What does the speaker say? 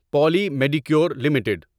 Poly Medicure limited